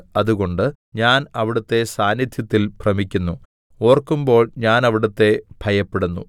അതുകൊണ്ട് ഞാൻ അവിടുത്തെ സാന്നിദ്ധ്യത്തിൽ ഭ്രമിക്കുന്നു ഓർക്കുമ്പോൾ ഞാൻ അവിടുത്തെ ഭയപ്പെടുന്നു